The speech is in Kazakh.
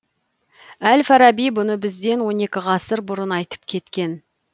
әл фараби бұны бізден он екі ғасыр бұрын айтып кеткен